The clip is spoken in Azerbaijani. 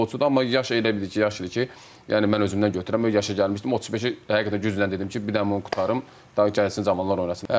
Amma yaş elə bil ki, yaşıdır ki, yəni mən özümdən götürürəm, o yaşa gəlmişdim, 35-i həqiqətən güclə dedim ki, bir dənə bunu qurtarım, daha gəlsin cavanlar oynasın.